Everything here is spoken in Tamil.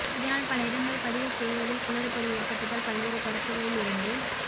இதனால் பல இடங்களில் பதிவு செய்வதில் குளறுபடி ஏற்பட்டதால் பல்வேறு தரப்புகளில் இருந்து